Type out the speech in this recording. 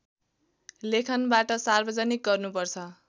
लेखनबाट सार्वजनिक गर्नुपर्छ